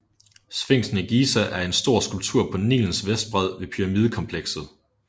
Sfinksen i Giza er en stor skulptur på Nilens vestbred ved pyramidekomplekset